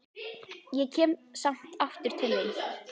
Ég kem samt aftur til þín.